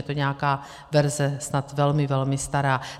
Je to nějaká verze snad velmi, velmi stará.